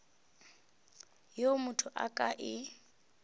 yeo motho a ka e